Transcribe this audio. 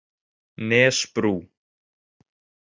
Nesbrú